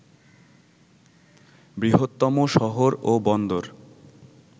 বৃহত্তম শহর ও বন্দর